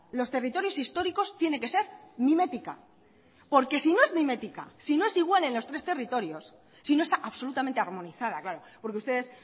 los territorios históricos tiene que ser mimética porque si no es mimética si no es igual en los tres territorios si no está absolutamente armonizada claro porque ustedes